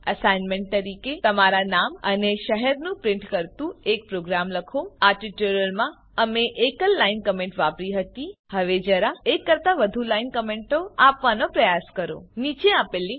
assignment તરીકે તમારા નામ અને શહેરને પ્રીંટ કરતુ એક પ્રોગ્રામ લખો આ ટ્યુટોરીયલમાં અમે એકલ લાઈન કમેન્ટ વાપરી હતી હવે જરા એક કરતા વધુ લાઈન કમેન્ટ આપવાનો પ્રયાસ કરો નીચે આપેલ લીંક ઉપર ઉપલબ્ધ વિડીઓ જુઓ